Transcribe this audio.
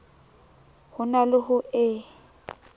ho na le ho e